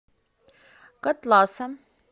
котласа